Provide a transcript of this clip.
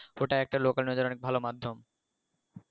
ওটা একটা local news এর ভালো মাধ্যম